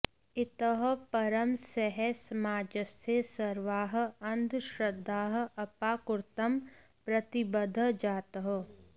इतः परं सः समाजस्य सर्वाः अन्धश्रद्धाः अपाकर्तुं प्रतिबद्धः जातः